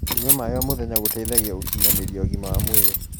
kũnyua maĩ o mũthenya gũteithagia gukinyanirĩa ũgima wa mwĩrĩ